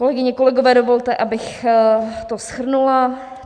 Kolegyně, kolegové, dovolte, abych to shrnula.